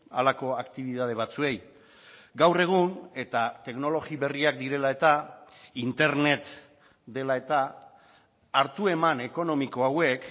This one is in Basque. halako aktibitate batzuei gaur egun eta teknologia berriak direla eta internet dela eta hartu eman ekonomiko hauek